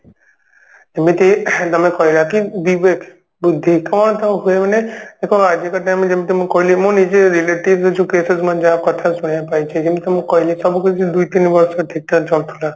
ଏମିତି ing ତମେ କହିବା କି disturbance ହୁଏ ମାନେ ଆଜିକା time ରେ ଯେମିତି ମୁଁ କହିଲି ମୁଁ ନିଜେ relative issues case ମାନେ ଯାହା କଥା ଶୁଣିବାକୁ ପାଇଛି ଯେମିତି ମୁଁ କହିଲି ସବୁ କିଛି ଦୁଇ ତିନି ବର୍ଷ ଠିକ ଠାକ ଚାଲୁଥିଲା